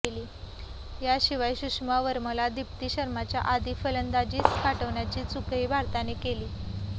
याशिवाय सुषमा वर्माला दीप्ती शर्माच्या आधी फलंदाजीस पाठविण्याची चूकही भारताने केली